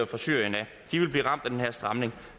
fra syrien de ville blive ramt af den her stramning